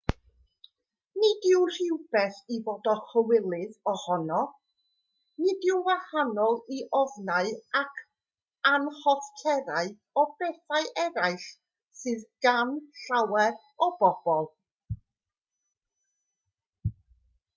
nid yw'n rhywbeth i fod a chywilydd ohono nid yw'n wahanol i ofnau ac anhoffterau o bethau eraill sydd gan lawer o bobl